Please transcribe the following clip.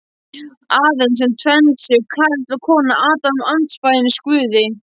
Aðeins sem tvennd séu karl og kona Adam andspænis Guði.